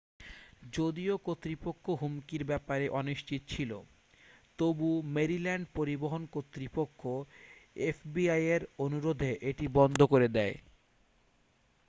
যদিও কর্তৃপক্ষ হুমকির ব্যাপারে অনিশ্চিত ছিল তবু মেরিল্যান্ড পরিবহন কর্তৃপক্ষ এফবিআইয়ের অনুরোধে এটি বন্ধ করে দেয়